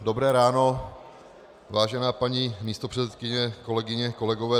Dobré ráno, vážená paní místopředsedkyně, kolegyně, kolegové.